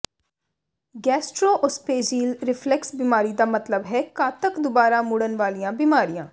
ਗੈਸਟ੍ਰੋਓਸਪੇਜੀਲ reflux ਬਿਮਾਰੀ ਦਾ ਮਤਲਬ ਹੈ ਘਾਤਕ ਦੁਬਾਰਾ ਮੁੜਨ ਵਾਲੀਆਂ ਬੀਮਾਰੀਆਂ